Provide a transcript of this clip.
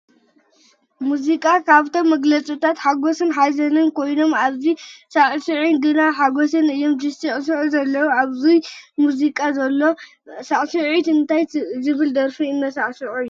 መዚቃ ካብቶም መግለፅታት ናይ ሓጎስን ሓዘንን ኮይኑ ኣብዚ ዘለው ሳዕሳዕትን ግና ናይ ሓጎስ እዮም ዝስዕስዑ ዘለው። ኣብዙይ ዘሎ ሙዚቀኛን ሳዕሳዕትን እንታይ ብዝብል ደርፊ እንዳሳዕስዑ እዮም ?